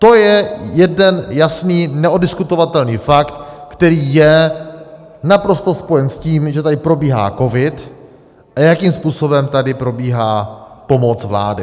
To je jeden jasný neoddiskutovatelný fakt, který je naprosto spojen s tím, že tady probíhá covid a jakým způsobem tady probíhá pomoc vlády.